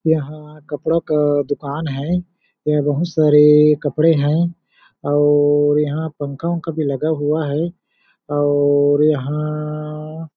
यहाँ कपड़ा का दुकान है यहाँ बहुत सारे कपड़े है और यहाँ पंखा-उनखा भी लगा हुआ है और यहाँ--